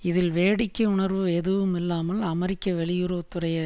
இதில் வேடிக்கை உணர்வு எதுவும் இல்லாமல் அமெரிக்க வெளியுறவு துறை